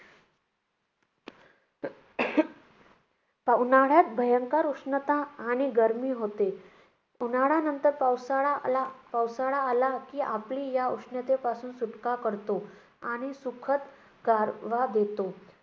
उन्हाळ्यात भयंकर उष्णता आणि गर्मी होते. उन्हाळ्यानंतर पावसाळा आला पावसाळा आला की आपली या उष्णतेपासून सुटका करतो आणि सुखद गारवा देतो.